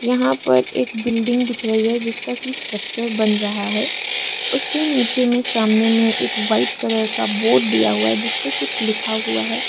यहां पर एक बिल्डिंग दिख रही है जिसका की स्ट्रक्चर बन रहा है उसके नीचे में सामने में एक व्हाइट कलर का बोर्ड दिया हुआ है जिस पे कुछ लिखा हुआ है।